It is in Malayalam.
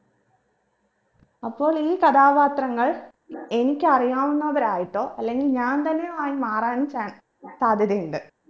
അപ്പോൾ ഈ കഥാപാത്രങ്ങൾ എനിക്കറിയാവുന്നവരായിട്ടോ അല്ലെങ്കിൽ ഞാൻ തന്നെ ആയി മാറാൻ chan സാധ്യതയുണ്ട്